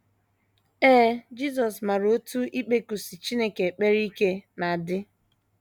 Ee, Jisọs maara otú ikpekusi Chineke ekpere ike na - adị.